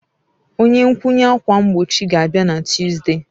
Onye nkwụnye ákwà mgbochi ga-abịa na Tuzdee.